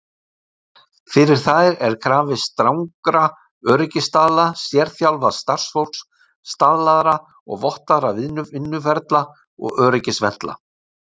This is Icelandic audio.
Fyrir þær er krafist strangra öryggisstaðla, sérþjálfaðs starfsfólks, staðlaðra og vottaðra vinnuferla og öryggisventla.